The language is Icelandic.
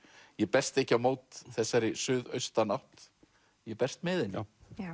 ég berst ekki á mót þessari suðaustanátt ég berst með henni